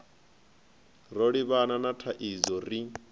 ro livhana na thaidzo ri